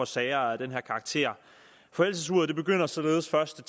sager af den her karakter forældelsesuret begynder således først